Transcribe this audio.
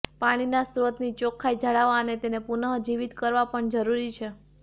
પાણીના સ્ત્રોતની ચોખ્ખાઈ જાળવવા અને તેને પુનઃ જીવીત કરવા પણ જરૃરી છે